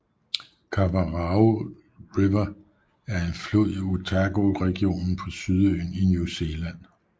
Kawarau River er en flod i Otago regionen på Sydøen i New Zealand